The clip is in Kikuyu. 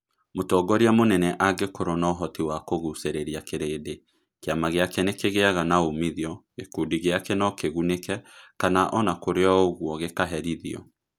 Mũtongoria mũnene angĩkorũo na ũhoti wa kũgucĩrĩria kĩrĩnd kiama gĩake nĩkĩgiaga na umithio, gĩkundi gĩake no kĩgunĩke, kana o na kũrĩ ũguo gikaherithio.